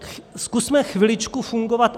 Zkusme chviličku fungovat.